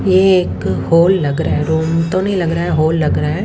ये एक हॉल लग रहा है रूम तो नहीं लग रहा है हॉल लग रहा है।